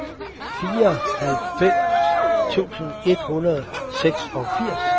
fireoghalvfems tusind et hundrede og seksogfirs